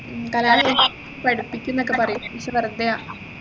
കല്യാണം കഴിച്ച് പഠിപ്പിക്കുന്നൊക്കെ പറയും പക്ഷേ വെറുതെയാ